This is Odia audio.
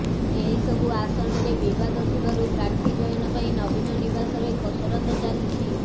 ଏହି ସବୁ ଆସନରେ ବିବାଦ ଥିବାରୁ ପ୍ରାର୍ଥୀ ଚୟନ ପାଇଁ ନବୀନ ନିବାସରେ କସରତ ଚାଲିଛି